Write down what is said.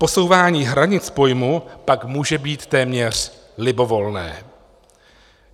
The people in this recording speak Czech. Posouvání hranic pojmu pak může být téměř libovolné.